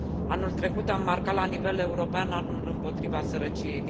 Anul trecut am marcat la nivel european anul împotriva sărăciei.